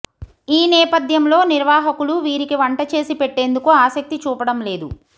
ఈ నేపథ్యంలో నిర్వాహకులు వీరికి వంటచేసి పెట్టేందుకు ఆసక్తి చూపడం లేదు